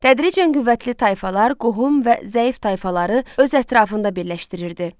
Tədricən qüvvətli tayfalar qohum və zəif tayfaları öz ətrafında birləşdirirdi.